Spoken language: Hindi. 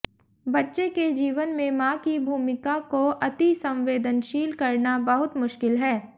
बच्चे के जीवन में मां की भूमिका को अतिसंवेदनशील करना बहुत मुश्किल है